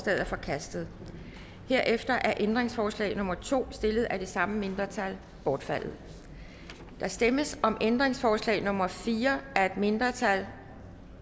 er forkastet herefter er ændringsforslag nummer to stillet af det samme mindretal bortfaldet der stemmes om ændringsforslag nummer fire af et mindretal